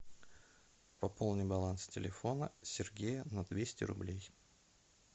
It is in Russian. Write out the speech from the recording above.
пополни баланс телефона сергея на двести рублей